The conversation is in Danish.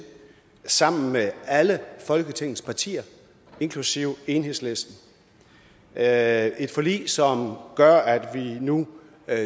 sammen med alle folketingets partier inklusive enhedslisten det er et forlig som gør at vi nu